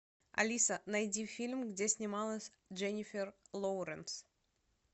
алиса найди фильм где снималась дженнифер лоуренс